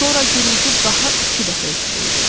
Sonra gurultu daha iki dəfə eşidildi.